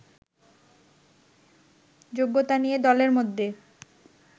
যোগ্যতা নিয়ে দলের মধ্যে